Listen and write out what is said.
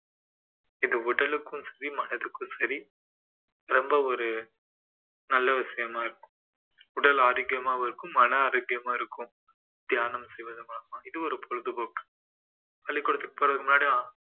இது உடலுக்கும் சரி மனதுக்கும் சரி ரொம்ப ஒரு நல்ல விசயமா இருக்கும் உடல் ஆரோக்கியமாவும் இருக்கும் மன ஆரோக்கியமா இருக்கும் தியானம் செய்வது மூலமா இது ஒரு பொழுது போக்கு பள்ளிக்கூடத்துக்கு போறதுக்கு முன்னாடி